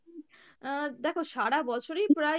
আহ দেখো সারা বছরই প্রায়